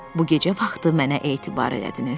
Bu gecə vaxtı mənə etibar elədiniz.